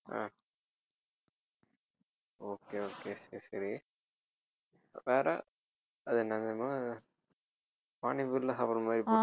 அஹ் okay okay சரி சரி வேற அது என்னது அது பானி பூரியில சாப்பிடற மாதிரி